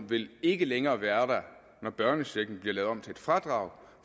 vil ikke længere være der når børnechecken bliver lavet om til et fradrag